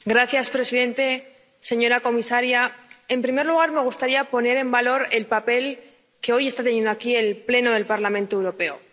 Señor presidente, señora comisaria. En primer lugar me gustaría poner en valor el papel que hoy está teniendo aquí el Pleno del Parlamento Europeo.